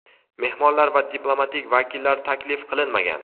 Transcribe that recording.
mehmonlar va diplomatik vakillar taklif qilinmagan.